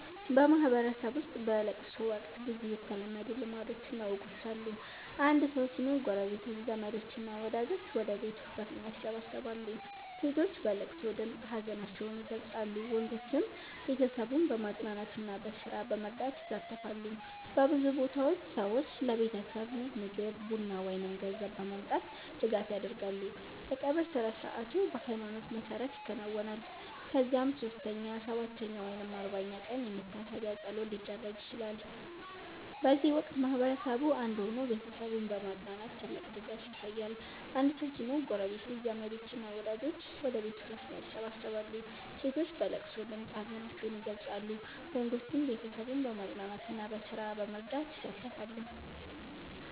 በማህበረሰብ ውስጥ በለቅሶ ወቅት ብዙ የተለመዱ ልማዶችና ወጎች አሉ። አንድ ሰው ሲሞት ጎረቤቶች፣ ዘመዶች እና ወዳጆች ወደ ቤቱ በፍጥነት ይሰበሰባሉ። ሴቶች በለቅሶ ድምፅ ሀዘናቸውን ይገልጻሉ፣ ወንዶችም ቤተሰቡን በማጽናናትና በስራ በመርዳት ይሳተፋሉ። በብዙ ቦታዎች ሰዎች ለቤተሰቡ ምግብ፣ ቡና ወይም ገንዘብ በማምጣት ድጋፍ ያደርጋሉ። የቀብር ስነ-ሥርዓቱ በሃይማኖት መሰረት ይከናወናል፣ ከዚያም 3ኛ፣ 7ኛ ወይም 40ኛ ቀን የመታሰቢያ ፀሎት ሊደረግ ይችላል። በዚህ ወቅት ማህበረሰቡ አንድ ሆኖ ቤተሰቡን በማጽናናት ትልቅ ድጋፍ ያሳያል። አንድ ሰው ሲሞት ጎረቤቶች፣ ዘመዶች እና ወዳጆች ወደ ቤቱ በፍጥነት ይሰበሰባሉ። ሴቶች በለቅሶ ድምፅ ሀዘናቸውን ይገልጻሉ፣ ወንዶችም ቤተሰቡን በማጽናናትና በስራ በመርዳት ይሳተፋሉ።